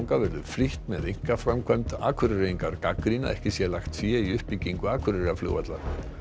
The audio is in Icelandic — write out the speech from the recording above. verður flýtt með einkaframkvæmd Akureyringar gagnrýna að ekki sé lagt fé í uppbyggingu Akureyrarflugvallar